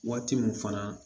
Waati min fana